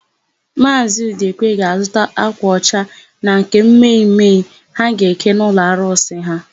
Maazị Udekwe ga-azụta ákwà ọcha na nke mme mme ha ga-eke n'ụlọarụsị ha.